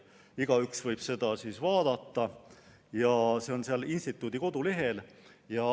Igaüks võib seda vaadata, see on selle instituudi kodulehel olemas.